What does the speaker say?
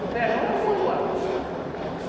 No verão é o manual.